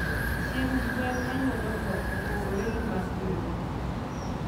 Chiemb gwen manyuolo tong opogore gi mag ringo